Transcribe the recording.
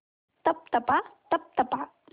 तप तपा तप तपा